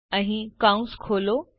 curly કૌંસ ખોલો